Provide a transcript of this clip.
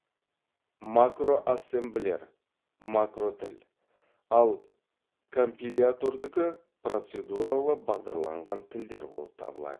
макроассемблер макротіл ал компилятордікі поцедуралы бағдарланған тілдер болып табылады